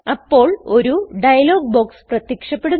അപ്പോൾ dialog box പ്രത്യക്ഷപ്പെടുന്നു